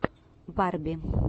барби